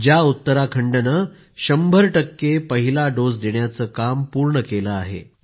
ज्या उत्तराखंडने शंभर टक्के पहिला डोस देण्याचे काम पूर्ण केलं आहे